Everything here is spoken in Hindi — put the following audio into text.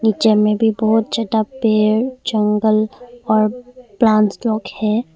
जेम्मे भी बहोत ज्यादा पेड़ जंगल और प्लांटस लोग भी है।